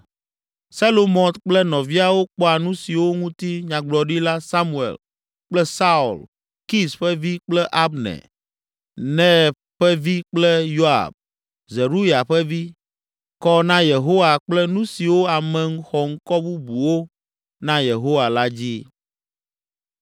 Selomɔt kple nɔviawo kpɔa nu siwo ŋuti Nyagblɔɖila Samuel kple Saul, Kis ƒe vi kple Abner, Ner ƒe vi kple Yoab, Zeruya ƒe vi, kɔ na Yehowa kple nu siwo ame xɔŋkɔ bubuwo na Yehowa la dzi.